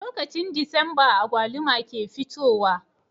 Lokacin disamba agwaluma ke fitowa